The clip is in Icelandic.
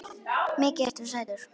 Mikið ertu sætur.